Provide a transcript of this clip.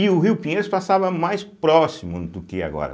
E o rio Pinheiros passava mais próximo do que agora.